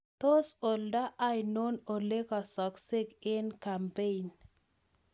Tos oldo ano olegaasakse eng' kampeein?